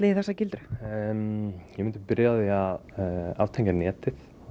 í þessa gildru ég myndi byrja á því að aftengja netið